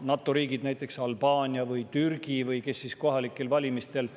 NATO riikide, näiteks Albaania või Türgi, kes siis omaksid Eestis kohalikel valimistel